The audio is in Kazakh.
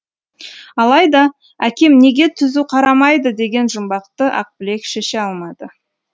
алайда әкем неге түзу қарамайды деген жүмбақты ақбілек шеше алмады